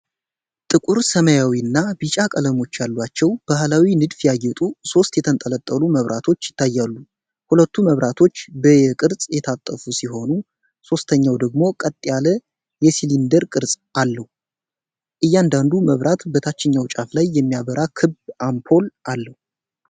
ጥቁር፣ ሰማያዊና ቢጫ ቀለሞች ያሏቸው በባህላዊ ንድፍ ያጌጡ ሦስት የተንጠለጠሉ መብራቶች ይታያሉ። ሁለቱ መብራቶች በ 'ዩ' ቅርጽ የታጠፉ ሲሆኑ፣ ሦስተኛው ደግሞ ቀጥ ያለ የሲሊንደር ቅርጽ አለው። እያንዳንዱ መብራት በታችኛው ጫፍ ላይ የሚያበራ ክብ አምፖል አለው።